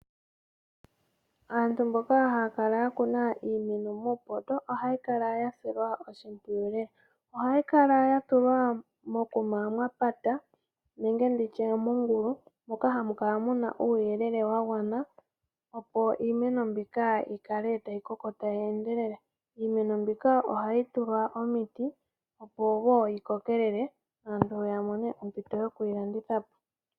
Aantu mboka ya kuna iimeno muupoto, ohayi kala ya silwa oshimpwiyu lela. Ohayi kala ya tulwa mokuma mwa patwa nenge nditye mongulu moka hamu kala mu na uuyelele wa gwana opo iimeno mbika yi kale tayi koko tayi endelele. Iimeno mbika ohayi tulwa momiti opo wo yi kokelele aantu ya mone ompito yoku yi landitha po.